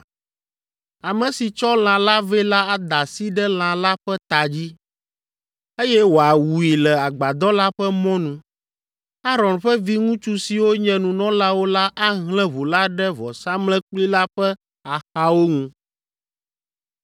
Ame si tsɔ lã la vɛ la ada asi ɖe lã la ƒe ta dzi, eye wòawui le agbadɔ la ƒe mɔnu. Aron ƒe viŋutsu siwo nye nunɔlawo la ahlẽ ʋu la ɖe vɔsamlekpui la ƒe axawo ŋu.